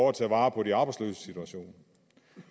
at tage vare på de arbejdsløses situation